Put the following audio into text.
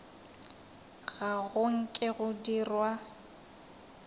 ga go nke go dirwa